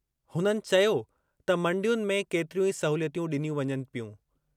हुननि चयो त मंडियुनि में केतिरियूं ई सहूलियतूं ॾिनियूं वञनि पियूं।